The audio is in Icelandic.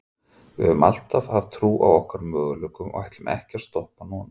Við höfum alltaf haft trú á okkar möguleikum og við ætlum ekki að stoppa núna.